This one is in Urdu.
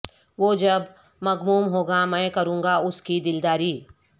وہ جب مغموم ہو گا میں کروںگا اس کی دل داری